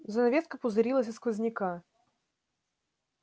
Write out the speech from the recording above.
занавеска пузырилась от сквозняка